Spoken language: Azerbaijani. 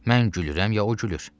Mən gülürəm ya o gülür?